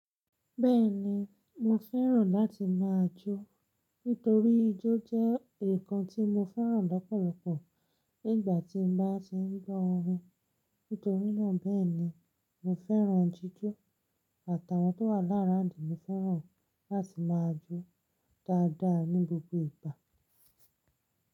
Bẹ́ẹ̀ni mo fẹ́ràn láti máa jó, nítorí ijó jẹ́ ǹkan tí mo fẹ́ràn lọ́pọ̀lọpọ̀ nígbàtí n bá ti ń gbọ́ orin, nítorínà bẹ́ẹ̀ni mo fẹ́ràn jíjó àtàwọn tó wà l around mi fẹ́ràn láti máa jó dáadáa ní gbogbo ìgbà.